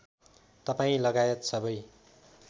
तपाईँ लगायत सबै